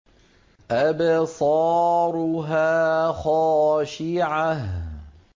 أَبْصَارُهَا خَاشِعَةٌ